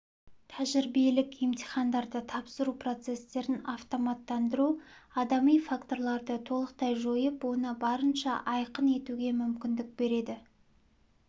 тәжірибелік емтихандарды тапсыру процестерін автоматтандыру адами факторларды толықтай жойып оны барынша айқын етуге мүмкіндік береді